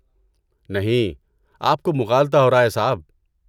نہیں، آپ کو مغالطہ ہو رہا ہے صاحب۔